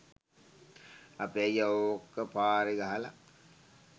අපේ අයියා ඕක පාරේ ගහලා